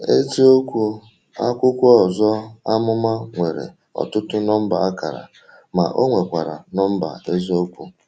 Eziokwu, Akwụkwọ Ọzọ Amụma nwere ọtụtụ nọmba akara, ma ọ nwekwara nọmba eziokwu.